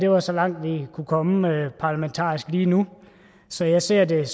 var så langt vi kunne komme parlamentarisk lige nu så jeg ser det